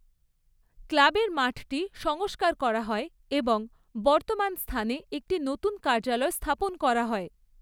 ক্লাবের মাঠটি সংস্কার করা হয় এবং বর্তমান স্থানে একটি নতুন কার্যালয় স্থাপন করা হয়।